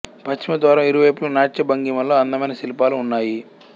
పశ్చిమ ద్వారం ఇరువైపులా నాట్య భంగిమలో అందమైన శిల్పాలు ఉన్నాయి